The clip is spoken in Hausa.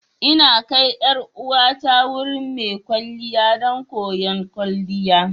Ina kai 'yar uwata wurin mai kwalliya don koyon kwalliya.